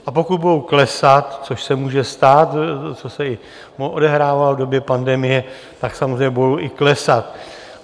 A pokud budou klesat, což se může stát, což se i odehrávalo v době pandemie, tak samozřejmě budou i klesat.